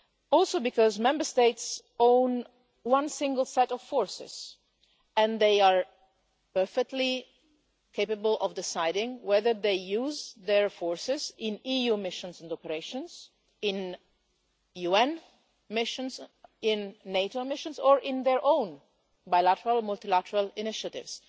Also, Member States own one single set of forces and they are perfectly capable of deciding whether to use their forces in EU missions and operations, in UN missions, in NATO missions or in their own bilateral or multilateral initiatives.